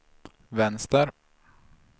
vänster